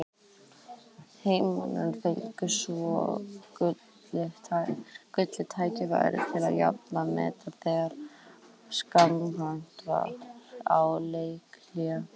Heimamenn fengu svo gullið tækifæri til að jafna metin þegar skammt var til leikhlés.